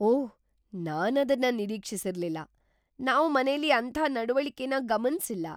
ಓಹ್, ನಾನದನ್ನ ನಿರೀಕ್ಷಿಸಿರ್ಲಿಲ್ಲ. ನಾವ್ ಮನೇಲಿ ಅಂಥ ನಡವಳಿಕೆನ ಗಮನ್ಸಿಲ್ಲ.